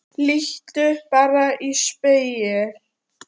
Líttu bara í spegil.